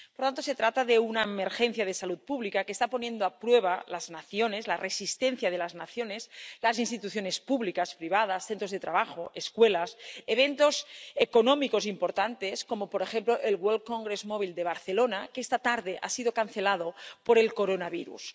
Por lo tanto, se trata de una emergencia de salud pública que está poniendo a prueba a las naciones —la resistencia de las naciones—, las instituciones públicas, privadas, centros de trabajo, escuelas, eventos económicos importantes —como, por ejemplo, el Mobile World Congress de Barcelona, que esta tarde ha sido cancelado por el coronavirus—.